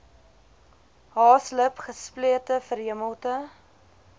haaslip gesplete verhemelte